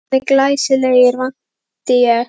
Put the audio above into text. Og búningarnir glæsilegir vænti ég?